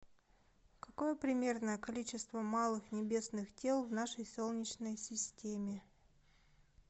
какое примерное количество малых небесных тел в нашей солнечной системе